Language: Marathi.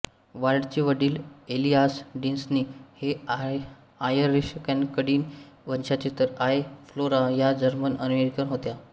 वॉल्टचे वडील एलिआस डिस्नी हे आयरिशकॅनडियन वंशाचे तर आई फ्लोरा या जर्मनअमेरिकन होत्या